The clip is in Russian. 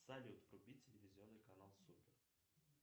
салют вруби телевизионный канал супер